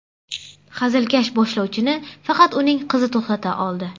Hazilkash boshlovchini faqat uning qizi to‘xtata oldi.